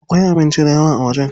Akwai abinci dayawa a wajen.